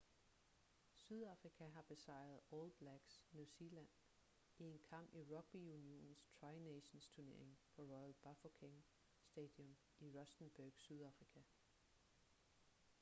sydafrika har besejret all blacks new zealand i en kamp i rugby-unionens tri nations-turnering på royal bafokeng stadium i rustenburg sydafrika